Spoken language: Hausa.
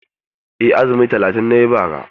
Eh, azumi talatin na yi bara.